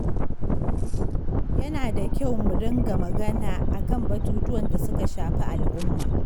Yana da muhimmanci mu ɗinga magana akan batutuwan da suka shafi al'umma.